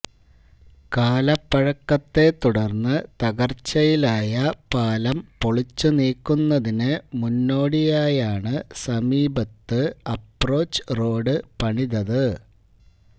കാലപ്പഴക്കത്തെ തുടര്ന്ന് തകര്ച്ചയിലായ പാലം പൊളിച്ചു നീക്കുന്നതിന് മുന്നോടിയായാണ് സമീപത്ത് അപ്രോച്ച് റോഡ് പണിതത്